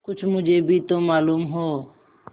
कुछ मुझे भी तो मालूम हो